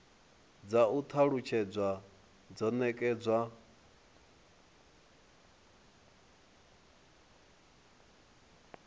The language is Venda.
dza u talutshedza zwo nekedzwa